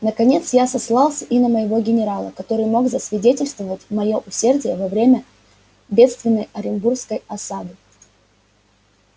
наконец я сослался и на моего генерала который мог засвидетельствовать моё усердие во время бедственной оренбургской осады